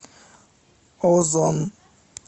озон